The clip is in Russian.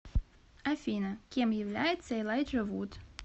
афина кем является элайджа вуд